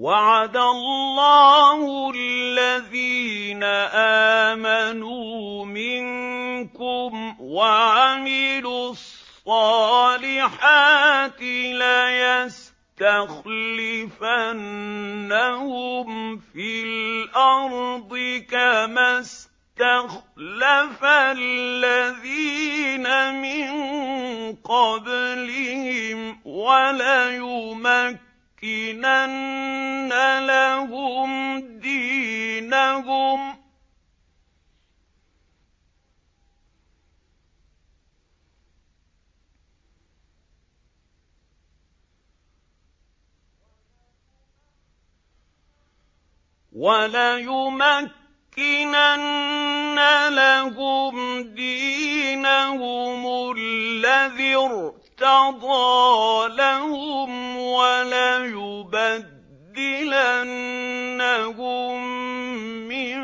وَعَدَ اللَّهُ الَّذِينَ آمَنُوا مِنكُمْ وَعَمِلُوا الصَّالِحَاتِ لَيَسْتَخْلِفَنَّهُمْ فِي الْأَرْضِ كَمَا اسْتَخْلَفَ الَّذِينَ مِن قَبْلِهِمْ وَلَيُمَكِّنَنَّ لَهُمْ دِينَهُمُ الَّذِي ارْتَضَىٰ لَهُمْ وَلَيُبَدِّلَنَّهُم مِّن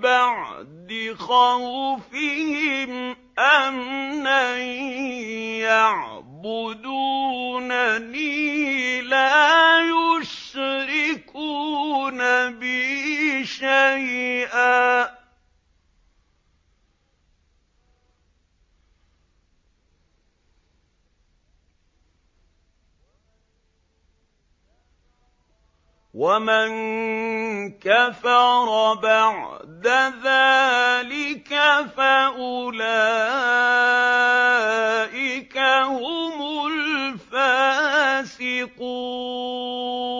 بَعْدِ خَوْفِهِمْ أَمْنًا ۚ يَعْبُدُونَنِي لَا يُشْرِكُونَ بِي شَيْئًا ۚ وَمَن كَفَرَ بَعْدَ ذَٰلِكَ فَأُولَٰئِكَ هُمُ الْفَاسِقُونَ